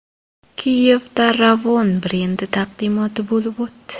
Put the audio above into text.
Kiyevda Ravon brendi taqdimoti bo‘lib o‘tdi.